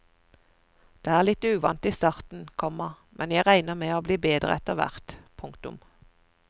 Det er litt uvant i starten, komma men jeg regner med å bli bedre etter hvert. punktum